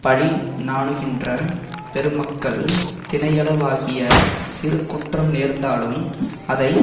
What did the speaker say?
பழி நாணுகின்ற பெருமக்கள் தினையளவாகிய சிறு குற்றம் நேர்ந்தாலும் அதை